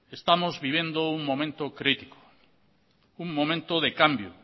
estamos viviendo un momento crítico un momento de cambio